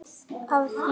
af því.